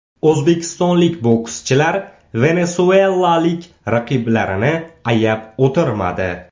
O‘zbekistonlik bokschilar venesuelalik raqiblarini ayab o‘tirmadi.